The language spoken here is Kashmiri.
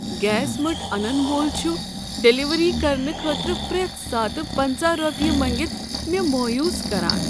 گیس مٔٹ انن وول چھ ڈلیوری کرنہٕ خٲطرٕ پرٮ۪تھ ساتہٕ پنَژہَ رۄپیہ مٔنگتھ مےٚ مویوٗس کران۔